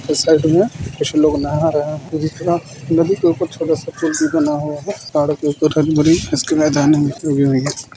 इस साइड में कुछ लोग नहा रहे हैं नदी के ऊपर छोटा सा पुल भी बना हुआ है।